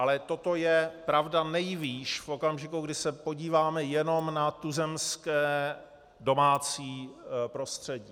Ale toto je pravda nejvýš v okamžiku, kdy se podíváme jenom na tuzemské domácí prostředí.